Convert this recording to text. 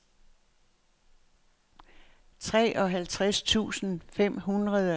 treoghalvtreds tusind fem hundrede og seks